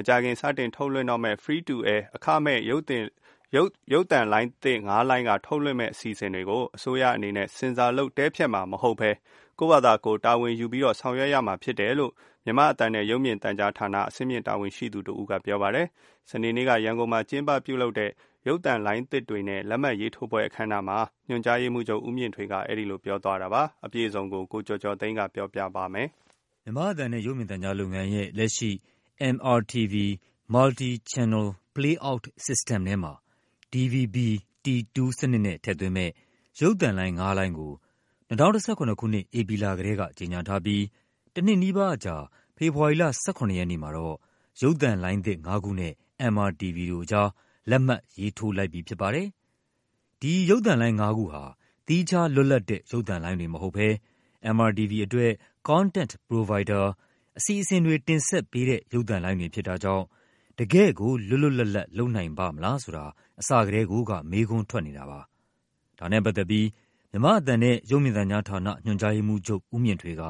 မကြာခင် စတင်ထုတ်လွှင့်တော့မယ့် Free-To-Air အခမဲ့ ရုပ်သံလိုင်းသစ်ငါးလိုင်းက ထုတ်လွှင့်မယ့်အစီအစဉ်တွေ ကို အစိုးရအနေနဲ့ ဆင်ဆာလုပ် တည်းဖြတ်မှာမဟုတ်ဘဲ ကိုယ့်ဖာသာ တာဝန်ယူပြီးတော့ ဆောင်ရွက်ရမှာ ဖြစ်တယ်လို့ မြန်မာ့အသံနဲ့ ရုပ်မြင်သံကြားဌာန အဆင့်မြင့်တာဝန်ရှိသူတဦးက ပြောပါတယ်။ စနေနေ့က ရန်ကုန်မြို့မှာလုပ်တဲ့ ရုပ်သံလိုင်းသစ်တွေနဲ့ လက်မှတ်ရေးထိုးပွဲအခမ်းအနားမှာ ညွှန်ကြားရေးမှူးချုပ် ဦးမြင့်ထွေးက အဲဒီလို ပြောသွားတာပါ။ အပြည့်အစုံကို ကိုကျော်ကျော်သိန်းက ပြောပြပါမယ်။ မြန်မာ့အသံနဲ့ ရုပ်မြင်သံကြားလုပ်ငန်းရဲ့ လက်ရှိ MRTV Multi Channel Playout System ထဲမှာ DVB-T2 စနစ်နဲ့ ထည့်သွင်းမယ့် ရုပ်သံလိုင်းငါးလိုင်းကို ၂၀၁၇ ခုနှစ်၊ ဧပြီလကတည်းက ကြေညာထားပြီး တနှစ်နီးပါးအကြာ ဖေဖော်ဝါရီလ ၁၇ ရက်နေ့မှာတော့ ရုပ်သံလိုင်းသစ်ငါးခုနဲ့ MRTV တို့အကြား လက်မှတ်ရေးထိုးလိုက်ပြီဖြစ်ပါတယ်။ ဒီရုပ်သံလိုင်းငါးခုဟာ သီးခြားလွတ်လပ်တဲ့ ရုပ်သံလိုင်းတွေမဟုတ်ဘဲ MRTV အတွက် Content Provider အစီအစဉ်တွေ တင်ဆက်ပေးတဲ့ ရုပ်သံလိုင်းတွေဖြစ်တာကြောင့် တကယ့်ကို လွတ်လွတ်လပ်လပ် လုပ်နိုင်ပါ့မလားဆိုတာ အစကတည်းကိုက မေးခွန်းထွက်နေတာပါ။ ဒါနဲ့ပတ်သက်ပြီး မြန်မာ့အသံနဲ့ရုပ်မြင်သံကြားဌာန ညွှန်ကြားရေးမှူးချုပ် ဦးမြင့်ထွေးက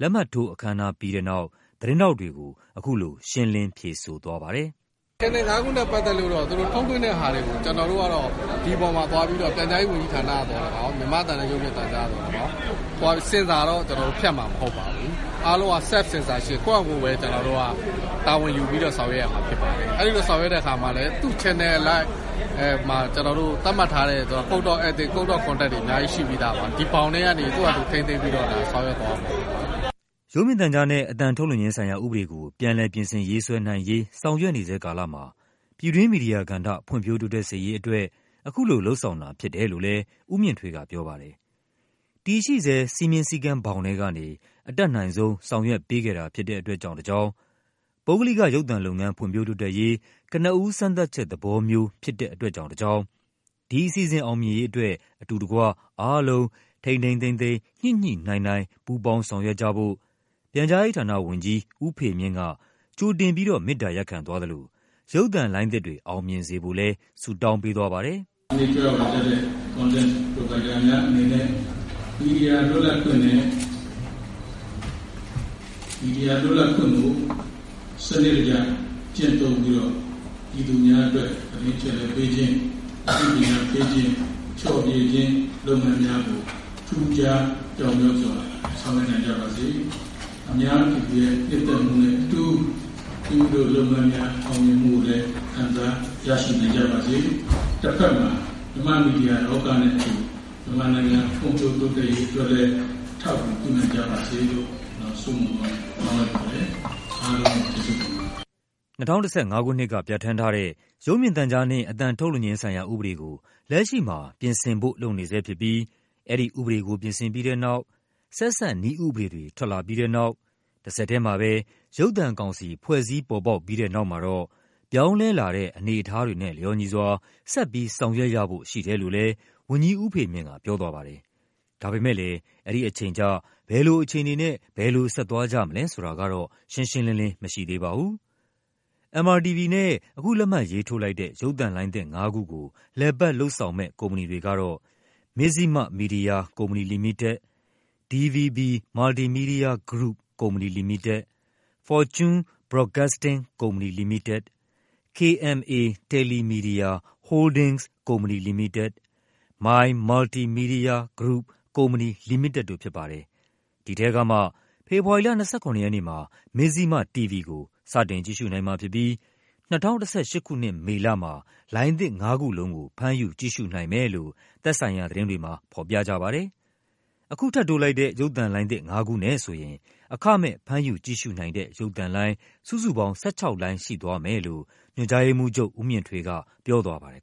လက်မှတ်ထိုးအခမ်းအနားပြီးတဲ့နောက် သတင်းထောက်တွေကို အခုလို ရှင်းလင်း ဖြေဆိုသွားပါတယ်။ “Channel ငါးခုနဲ့ပတ်သက်လို့တော့ သူတို့ထုတ်လွှင့်တဲ့ဟာတွေကို ကျနော်တို့ကတော့ ဒီအပေါ်မှာသွားပြီးတော့ ပြန်ကြားရေး ဝန်ကြီးဌာနကသော်လည်းကောင်း၊ မြန်မာ့အသံနဲ့ ရုပ်မြင်သံကြားကသော်လည်းကောင်း သွားပြီး censor တော့ ကျနော်တို့ ဖြတ်မှာမဟုတ်ပါဘူး။ အားလုံးဟာ Self-Censorship ကိုယ့်ဟာကိုယ်ပဲ တာဝန်ယူူပြီးတော့ ဆောင်ရွက်ရမှာဖြစ်ပါတယ်။ အဲဒီလိုဆောင်ရွက်တဲ့အခါမှာလည်း သူ့ Channel အလိုက် သတ်မှတ်ထားတဲ့ Code of Ethics ၊ Code of Conduct တွေ အများ ကြီးရှိပြီးသားပါ။ ဒီဘောင်ထဲကနေ သူ့ဟာသူ ထိန်းသိမ်းပြီးတော့ ဆောင်ရွက်သွားရမှာဖြစ်ပါတယ်။” ရုပ်မြင်သံကြားနဲ့ အသံထုတ်လွှင့်ခြင်းဆိုင်ရာဥပဒေကို ပြန်လည်ပြင်ဆင်ရေးဆွဲနိုင်ရေး ဆောင်ရွက်နေဆဲကာလမှာ ပြည်တွင်း မီဒီယာကဏ္ဍ ဖွံ့ဖြိုးတိုးတက်စေရေးအတွက် အခုလို လုပ်ဆောင်တာဖြစ်တယ်လို့လည်း ဦးမြင့်ထွေးကပြောပါတယ်။ တည်ရှိဆဲ စည်းမျဉ်းစည်းကမ်း ဘောင်ထဲကနေ အတတ်နိုင်ဆုံး ဆောင်ရွက်ပေးခဲ့တာဖြစ်တဲ့အတွက်ကြောင့်တကြောင်း၊ ပုဂ္ဂလိက ရုပ်သံလုပ်ငန်း ဖွံ့ဖြိုးတိုးတက်ရေး ကနဦးစမ်းသပ်ချက်သဘောမျိုး ဖြစ်တဲ့အတွက်ကြောင့်တကြောင်း ဒီအစီအစဉ်အောင်မြင်ရေး အတွက် အတူတကွ အားလုံး ထိန်းထိန်းသိမ်းသိမ်း ညှိညှိနှိုင်းနှိုင်း ပူးပေါင်းဆောင်ရွက်ကြဖို့ ပြန်ကြားရေးဌာနဝန်ကြီး ဦးဖေမြင့်က ကြိုတင်ပြီးတော့ မေတ္တာရပ်ခံသွားသလို ရုပ်သံလိုင်းသစ်တွေ အောင်မြင်စေဖို့လည်း ဆုတောင်းပေးသွားပါတယ်။ “ဒီကနေ့ ကြွရောက်လာကြတဲ့ Content Provider များအနေနဲ့ မီဒီယာလွတ်လပ်ခွင့်ကို စနစ်တကျ ကျင့်သုံးပြီးတော့ ပြည်သူများ အတွက် သတင်းအချက်အလက်ပေးခြင်း၊ အသိပညာပေးခြင်း၊ ဖျော်ဖြေခြင်း လုပ်ငန်းများကို ထူးခြား ပြောင်မြောက်စွာ ဆောင်ရွက်နိုင်ကြပါစေ၊ အများပြည်သူရဲ့ နှစ်သက်မှုနဲ့အတူ မိမိတို့လုပ်ငန်းများ အောင်မြင်မှုကိုလည်း ခံစားရရှိနိုင်ကြပါစေ၊ တဖက်မှာ မြန်မာ့မီဒီယာလောကနဲ့အတူ မြန်မာနိုင်ငံ ဖွံ့ဖြိုးတိုးတက်ရေးအတွက်လည်း အထောက်အကူ ပြုနိုင်ကြပါစေလို့ ကျနော် ဆုမွန်ကောင်း တောင်းလိုက်ပါတယ်။” ၂၀၁၅ ခုနှစ်က ပြဌာန်းထားတဲ့ ရုပ်မြင်သံကြားနှင့် အသံထုတ်လွှင့်ခြင်းဆိုင်ရာဥပဒေကို လက်ရှိမှာ ပြင်ဆင်ဖို့လုပ်နေဆဲဖြစ်ပြီး အဲဒီ ဥပဒေကို ပြင်ဆင်ပြီးတဲ့နောက်၊ ဆက်စပ်နည်းဥပဒေတွေ ထွက်ပြီးတဲ့နောက်၊ တဆက်ထဲမှာပဲ ရုပ်သံကောင်စီဖွဲ့စည်းပေါ်ပေါက်ပြီး တဲ့နောက်မှာတော့ ပြောင်းလဲလာတဲ့ အနေအထားတွေနဲ့လျော်ညီစွာ ဆက်ပြီး ဆောင်ရွက်ရဖို့ရှိတယ်လို့လည်း ဝန်ကြီးဦးဖေမြင့် ကပြောသွားပါတယ်။ ဒါပေမဲ့လည်း အဲဒီအချိန်ကျ ဘယ်လိုအခြေအနေနဲ့ ဘယ်လိုဆက်သွားကြမလဲဆိုတာကတော့ ရှင်းရှင်း လင်းလင်းမရှိပါဘူး။ MRTV နဲ့ အခုလက်မှတ်ရေးထိုးလိုက်တဲ့ ရုပ်သံလိုင်းသစ်ငါးခုကို လည်ပတ်လုပ်ဆောင်မယ့် ကုမ္ပဏီတွေကတော့ Mizzima Media Company Limited ၊ DVB Multimedia Group Company Limited ၊ Fortune Broadcasting Company Limited ၊ KMA TeleMedia Holdings Company Limited ၊ My Multi Media Group Company Limited တို့ဖြစ်ပါတယ်။ ဒီထဲကမှာ ဖေဖော်ဝါရီလ ၂၇ ရက်နေ့မှာ Mizzima TV ကို စတင်ကြည့်ရှုနိုင်မှာဖြစ်ပြီး ၂၀၁၈ ခုနှစ်၊ မေလမှာ လိုင်းသစ် ၅ ခုလုံးကို ဖမ်းယူကြည့်ရှုနိုင်မယ်လို့ သက်ဆိုင်ရာသတင်းတွေမှာ ဖော်ပြထားပါတယ်။ အခုထပ်တိုးလိုက်တဲ့ ရုပ်သံလိုင်းသစ်ငါးခုနဲ့ဆိုရင် အခမဲ့ ဖမ်းယူကြည့်ရှုနိုင်တဲ့ ရုပ်သံလိုင်း စုစုပေါင်း ၁၆ လိုင်းရှိသွားမယ်လို့ ညွှန်ကြားရေးမှူးချုပ် ဦးမြင့်ထွေးကပြောသွားပါတယ်